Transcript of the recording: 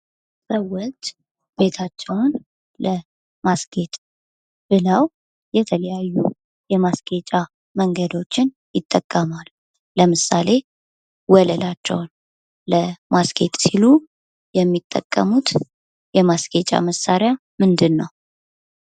ሰዎች ቤታቸውን ለማስጌጥ ብለው የተለያዩ የማስጌጫ መንገዶችን ይጠቀማሉ። ለምሳሌ፦ ወለላቸውን ለማስጌጥ ሲሉ የሚጠቀሙት የማስጌጫ መሳሪያ ምንድነው?